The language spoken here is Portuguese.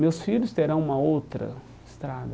Meus filhos terão uma outra estrada.